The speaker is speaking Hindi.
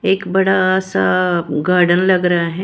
एक बड़ा सा गार्डन लग रहा है।